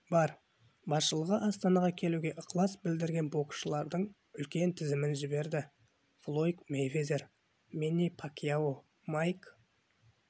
бар басшылығы астанаға келуге ықылас білдірген боксшылардың үлкен тізімін жіберді флойд мейвезер мэнни пакьяо майк